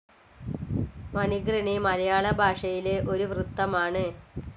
മണിഘൃണി മലയാള ഭാഷയിലെ ഒരു വൃത്തമാണ്.